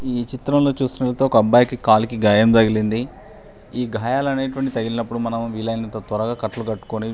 ఈ చిత్రం లో చూసినట్లయితే ఒక అబ్బాయికి కాలికి గాయం తగిలింది ఈ గాయాలు అనెతువయాంటీవీ తగిలినపుడు మనం వీలయినంత త్వరగా కట్లు కట్టుకుని --